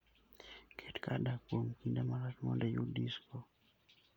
Ket kar dak kuom kinde malach mondo iyud disko.